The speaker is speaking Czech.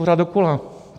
Pořád dokola.